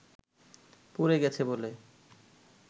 পুড়ে গেছে বলে